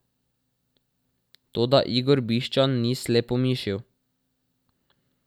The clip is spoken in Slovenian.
Toda Igor Bišćan ni slepomišil.